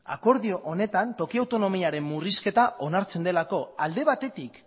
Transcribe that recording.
akordio honetan toki autonomiaren murrizketa onartzen delako alde batetik